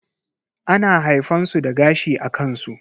ana haifan su da gashi a kansu.